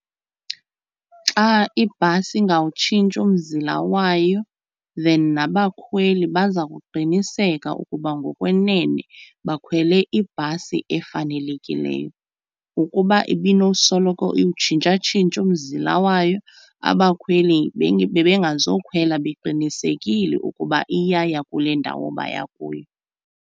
Xa ibhasi ingawutshintshi umzila wayo then nabakhweli baza kuqiniseka ukuba ngokwenene bakhwele ibhasi efanelekileyo. Ukuba ibinosoloko iwutshintshatshintsha umzila wayo abakhweli bebengazokhwela beqinisekile ukuba iyaya kule ndawo baya kuyo.